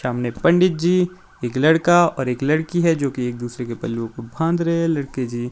सामने पंडित जी एक लड़का और एक लड़की है जो की एक दूसरे के पल्लू को फांद रहे हैं लड़के जी--